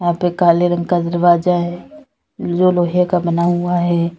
यहां पे काले रंग का दरवाजा है जो लोहे का बना हुआ है।